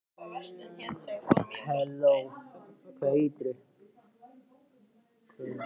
Þú varst eiginlega sköllóttur þegar þú fæddist.